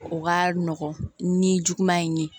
O ka nɔgɔn ni juguman in ye